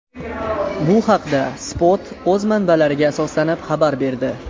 Bu haqda Spot o‘z manbalariga asoslanib xabar berdi .